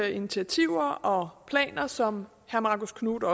initiativer og planer som herre marcus knuth